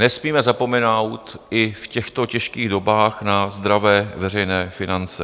Nesmíme zapomenout i v těchto těžkých dobách na zdravé veřejné finance.